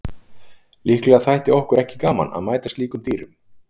Líklega þætti okkur ekki gaman að mæta slíkum dýrum.